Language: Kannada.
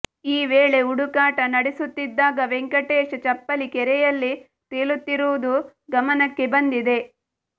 ಈ ವೇಳೆ ಹುಡುಕಾಟ ನಡೆಸುತ್ತಿದ್ದಾಗ ವೆಂಕಟೇಶ್ ಚಪ್ಪಲಿ ಕೆರೆಯಲ್ಲಿ ತೇಲುತ್ತಿರುವುದು ಗಮನಕ್ಕೆ ಬಂದಿದೆ